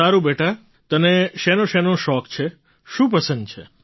સારૂં બેટા તને શેનોશેનો શોખ છે શું પસંદ છે